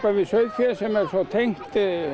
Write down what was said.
við sauðfé sem er svo tengt